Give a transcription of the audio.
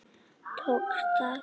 Tókst það?